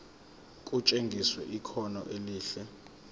kutshengisa ikhono elihle